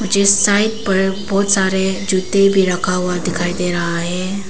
जिस साइड पर बहुत सारे जूते भी रखा हुआ दिखाई दे रहा है।